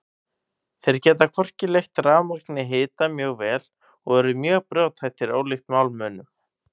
Þeir geta hvorki leitt rafmagn né hita mjög vel og eru mjög brothættir ólíkt málmunum.